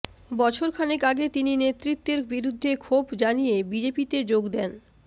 বছর খানেক আগে তিনি নেতৃত্বের বিরুদ্ধে ক্ষোভ জানিয়ে বিজেপিততে যোগ দেন